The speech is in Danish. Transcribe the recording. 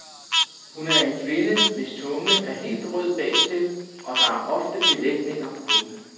Hun er en kvinde, hvis tunge er helt rød bagtil, og der er ofte belægninger på den.